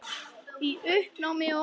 Í uppnámi og angist.